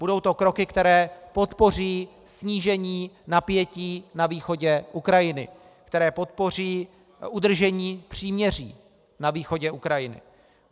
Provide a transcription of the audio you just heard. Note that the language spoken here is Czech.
Budou to kroky, které podpoří snížení napětí na východě Ukrajiny, které podpoří udržení příměří na východě Ukrajiny.